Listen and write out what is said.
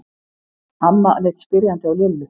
Amma leit spyrjandi á Lillu.